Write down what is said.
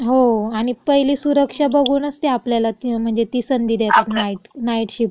हो. आणि पहिली सुरक्षा बघुनच ते आपल्याला म्हणजे ती संधी देतात नाईट, नाईट शिफ्ट घ्यायची.